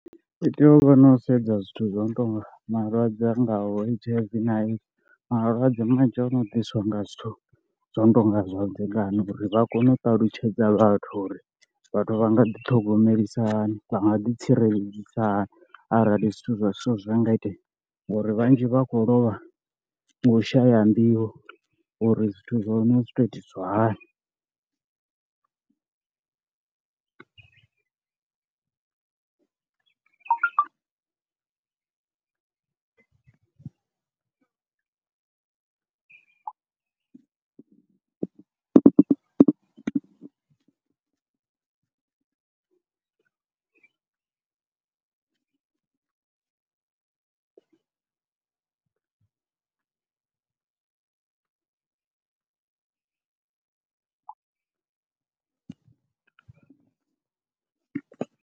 U tea u vha no sedza zwithu zwo no tou nga malwadze a ngaho H_I_V na AIDS, malwadze manzhi ono ḓiswa nga zwithu zwo no tou nga zwavhudzekani uri vha kone u ṱalutshedza vhathu uri vhathu vha nga ḓi thogomelisahani, vha nga ḓi tsireledzisa hani arali zwithu zwa zwithu zwa nga itea, ngauri vhanzhi vha khou lovha nga u shaya nḓivho uri zwithu zwa hone zwi tou itisiwa hani.